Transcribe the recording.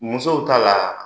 Musow ta la